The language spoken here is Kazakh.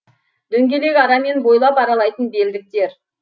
дөңгелек арамен бойлап аралайтын білдектер